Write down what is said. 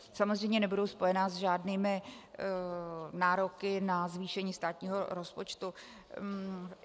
Samozřejmě nebudou spojena s žádnými nároky na zvýšení státního rozpočtu.